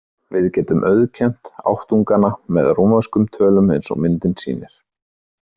Við getum auðkennt áttungana með rómverskum tölum eins og myndin sýnir.